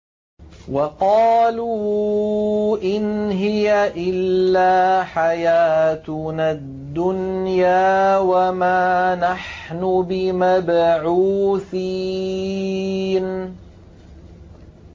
وَقَالُوا إِنْ هِيَ إِلَّا حَيَاتُنَا الدُّنْيَا وَمَا نَحْنُ بِمَبْعُوثِينَ